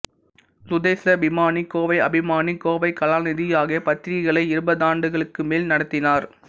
சுதேசாபிமானி கோவை அபிமானி கோவை கலாநிதி ஆகிய பத்திரிகைகளை இருபதாண்டுகளுக்குமேல் நடத்தினார்